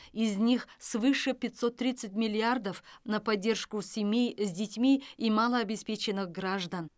из них свыше пятьсот тридцать миллиардов на поддержку семей с детьми и малообеспеченных граждан